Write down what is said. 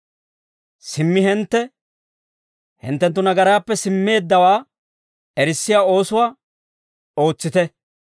Simmi hintte, hinttenttu nagaraappe simmeeddawaa erissiyaa oosuwaa, ootsite.